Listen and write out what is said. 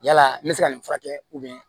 Yala n bɛ se ka nin furakɛ